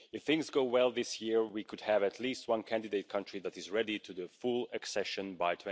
If things go well this year, we could have at least one candidate country that is ready for full accession by